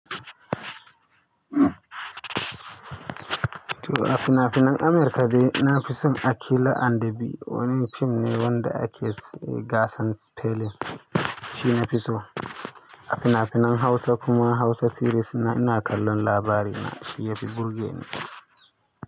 To a fina-finan America be, na fi son Akila and the Bee. Wannan fim ne wanda ake gasan spelling. Shi nafi so. A fina-finan Hausa kuma Hausa series ina kallon labarina. Shi yafi burge ni.